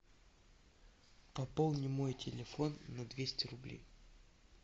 пополни мой телефон на двести рублей